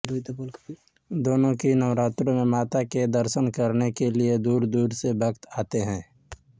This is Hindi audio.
दोनों ही नवरात्रों में माता के दर्शन करने के लिए दूरदूर से भक्त आते हैं